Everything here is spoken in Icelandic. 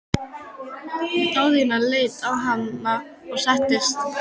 Daðína leit á hana og settist.